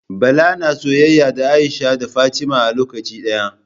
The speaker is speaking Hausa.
Bala na soyayya da Aisha da Fatima a lokaci daya